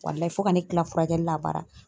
Walayi fo ka ne kila furakɛli la a bara